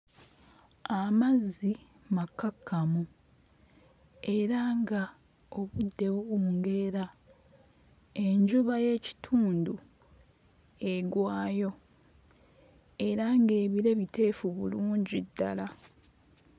Amazzi makkakkamu era nga obudde buwungeera enjuba y'ekitundu egwayo era ng'ebire biteefu bulungi ddala.